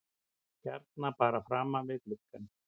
Hérna bara framan við gluggann?